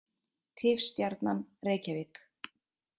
Tifstjarnan: Reykjavík.